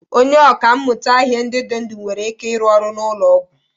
Onye ọkà mmụta ihe ndị dị ndụ nwere ike ịrụ ọrụ n'ụlọ ọgwụ?